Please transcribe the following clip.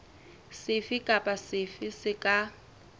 sefe kapa sefe se ka